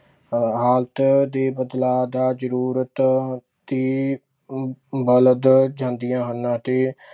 ਅਹ ਹਾਲਤ ਦੇ ਬਦਲਾ ਦਾ ਜ਼ਰੂਰਤ ਦੀ ਅਮ ਬਲਦ ਜਾਂਦੀਆਂ ਹਨ ਅਤੇ